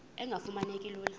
engafuma neki lula